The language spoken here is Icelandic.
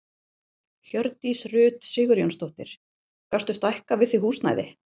Hjördís Rut Sigurjónsdóttir: Gastu stækkað við þig húsnæði?